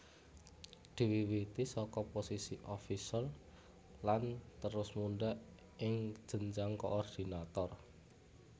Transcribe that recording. Diwiwiti saka posisi officer lan terus mundhak ing jenjang koordinator